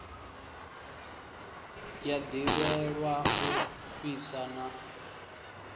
ya ḓivhelwa u fhisa na